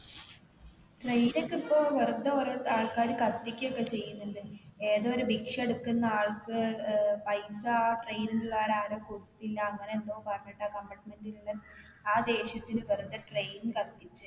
train ഒക്കെ ഇപ്പൊ വെറുതെ ഓരോ ആൾക്കാർ കത്തിക്കൊക്കെ ചെയ്യുന്നുണ്ട് ഏതോ ഒരു ഭിക്ഷ എടുക്കുന്ന ആൾക്ക് ഏർ പൈസ train ൽ ഉള്ള ആരോ കൊടുത്തില്ല അങ്ങനെ എന്തോ പറഞ്ഞിട്ട് ആ compartment ൽ ഉള്ള ആ ദേഷ്യത്തിന് വെറുതെ train കത്തിച്ച്